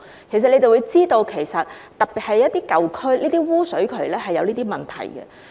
其實當局也知道，特別是在一些舊區，污水渠是有這些問題的。